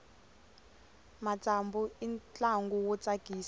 matsambu i ntlangu wo tsakisa